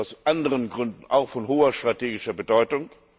Sie sind aus anderen Gründen auch von hoher strategischer Bedeutung.